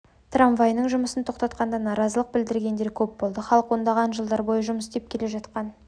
трамвайының жұмысын тоқтатқанда наразылық білдіргендер көп болды халық ондаған жылдар бойы жұмыс істеп келе жатқан